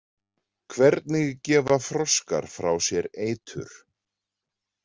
Hvernig gefa froskar frá sér eitur?